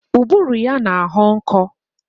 Ụbụrụ ya na-ahọ nkọ